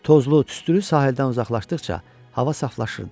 Tozlu, tüstülü sahildən uzaqlaşdıqca hava saflaşırdı.